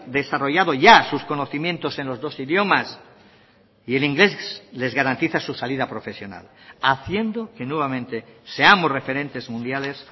desarrollado ya sus conocimientos en los dos idiomas y el inglés les garantiza su salida profesional haciendo que nuevamente seamos referentes mundiales